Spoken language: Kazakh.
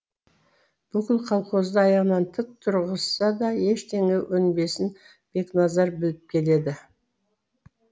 бүкіл колхозды аяғынан тік тұрғызса да ештеңе өнбесін бекназар біліп келеді